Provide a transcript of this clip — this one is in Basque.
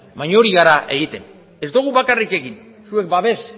baina hori egiten ari gara ez dugu bakarrik egin zuek babes